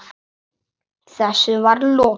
Þessu var lokið.